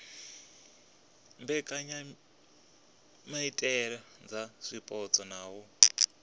mbekanyamaitele dza zwipotso na u